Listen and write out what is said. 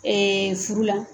furu la.